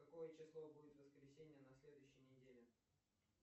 какое число будет в воскресенье на следующей неделе